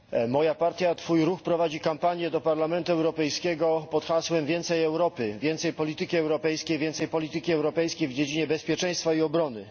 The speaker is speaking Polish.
Moja partia Twój Ruch prowadzi kampanię do Parlamentu Europejskiego pod hasłem Więcej Europy, więcej polityki europejskiej, więcej polityki europejskiej w dziedzinie bezpieczeństwa i obrony!.